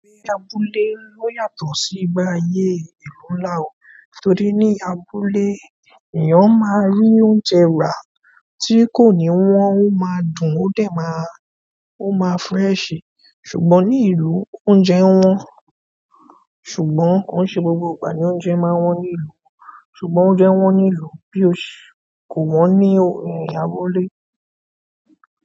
Abúlé o yàtọ̀ si igbe ate ìlú ńlá o. Nítorí ní abúlé èèyàn máa rí oúnjẹ rà tí kò ní wọ́n, o máa dùn ó dẹ̀ máa, ó máa fresh, ṣùgbọ́n ní ìlú oúnjẹ wọ́n, ṣùgbọ́n kò ṣe gbogbo ìgbà ni oúnjẹ máa wọ́n ní ìlú, ṣùgbọ́n oúnjẹ wọ́n ní ìlú bí o ṣi kò wọ́n ní ẹ̀yà abúlé.